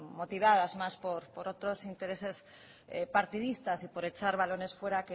motivadas más por otros intereses partidistas y por echar balones fuera